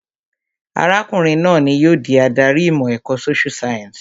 Arákùnrin náà ni yóò di adarí ìmọ̀ ẹ̀kọ́ social science